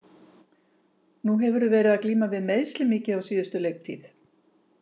Nú hefurðu verið að glíma við meiðsli mikið á síðustu leiktíð.